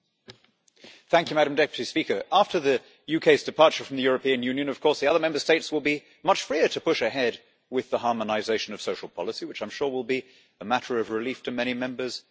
Madam President, after the UK's departure from the European Union the other Member States will be much freer to push ahead with the harmonisation of social policy, which I'm sure will be a matter of relief to many Members in this House.